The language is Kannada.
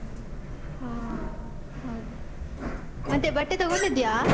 ಆ ಹೌದು, ಮತ್ತೆ ಬಟ್ಟೆ ತಗೊಂಡಿದ್ಯಾ?